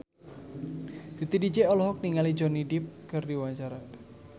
Titi DJ olohok ningali Johnny Depp keur diwawancara